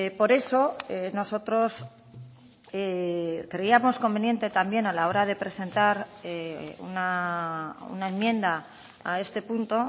por eso nosotros creíamos conveniente también a la hora de presentar una enmienda a este punto